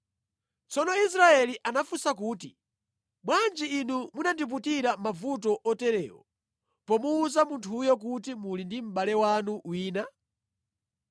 Tsono Israeli anafunsa kuti, “Bwanji inu munandiputira mavuto oterewa pomuwuza munthuyo kuti muli ndi mʼbale wanu wina?”